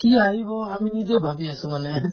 কি আহিব আমি নিজেও ভাবি আছো মানে